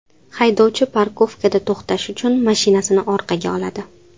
Haydovchi parkovkada to‘xtash uchun mashinasini orqaga oladi.